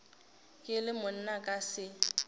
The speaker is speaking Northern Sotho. ke le monna ka se